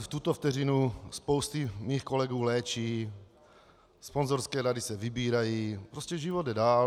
v tuto vteřinu spousty mých kolegů léčí, sponzorské dary se vybírají, prostě život jde dál.